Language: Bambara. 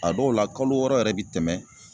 A dɔw la kalo wɔɔrɔ yɛrɛ bi tɛmɛ